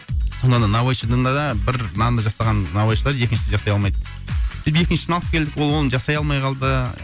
сонда да наубайшыданда да бір нанды жасаған наубайшылар екіншісін жасай алмайды сөйтіп екіншісін алып келдік ол оны жасай алмай қалды